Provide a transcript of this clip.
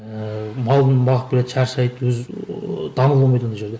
ііі малын бағып келеді шаршайды өз ііі даму болмайды ондай жерде